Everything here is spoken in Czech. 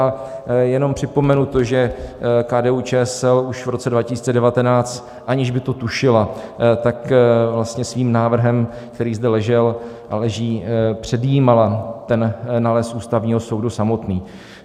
A jenom připomenu to, že KDU-ČSL už v roce 2019, aniž by to tušila, tak vlastně svým návrhem, který zde ležel a leží, předjímala ten nález Ústavního soudu samotný.